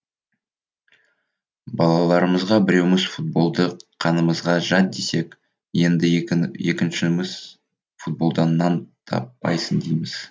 балаларымызға біреуіміз футболды қанымызға жат десек енді екіншіміз футболдан нан таппайсың дейміз